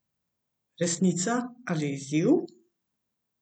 Resnica ali izziv?